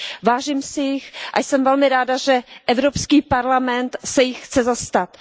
Vážím si jich a jsem velmi ráda, že Evropský parlament se jich chce zastat.